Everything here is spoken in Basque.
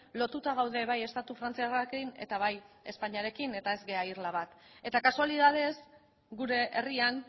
lotuta gaude bai estatu frantziarrekin eta bai espainiarekin eta ez gara irla bat eta kasualitatez gure herrian